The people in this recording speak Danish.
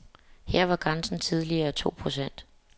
Her var grænsen tidligere to procent.